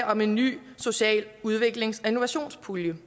om en ny social udviklings og innovationspulje